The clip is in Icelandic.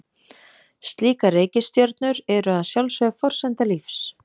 Slíkar reikistjörnur eru að sjálfsögðu forsenda lífs.